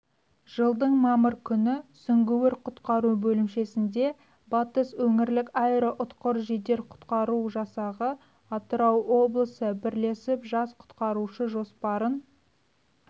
жылдың мамыр күні сүңгуір-құтқару бөлімшесінде батыс өңірлік аэроұтқыр жедел-құтқару жасағы атырау облысы бірлесіп жас құтқарушы жоспарын